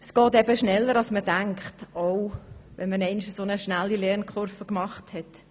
Es geht eben schneller als man denkt, auch dann, wenn man einmal eine so schnelle Lernkurve gemacht hat.